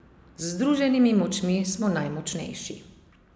Z združenimi močmi smo najmočnejši.